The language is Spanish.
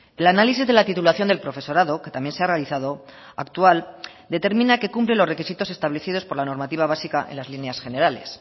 el análisis de la titulación del profesorado que también se ha realizado actual determina que cumple los requisitos establecidos por la normativa básica en las líneas generales